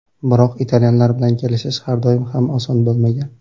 Biroq italyanlar bilan kelishish har doim ham oson bo‘lmagan.